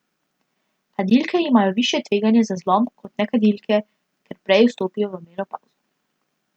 Kadilke imajo višje tveganje za zlom kot nekadilke, ker prej vstopijo v menopavzo.